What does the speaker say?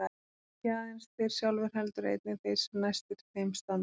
Ekki aðeins þeir sjálfir heldur einnig þeir sem næstir þeim standa.